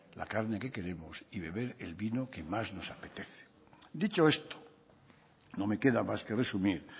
la carne que queremos y beber el vino que más nos apetece dicho esto no me queda más que resumir